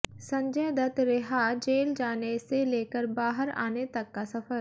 संजय दत्त रिहाः जेल जाने से लेकर बाहर आने तक का सफर